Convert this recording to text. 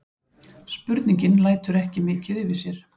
Spurningin lætur ekki mikið yfir sér.